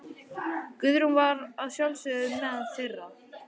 Guðrún var að sjálfsögðu meðal þeirra.